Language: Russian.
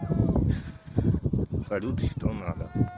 салют что надо